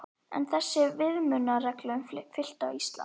Er þessum viðmiðunarreglum fylgt á Íslandi?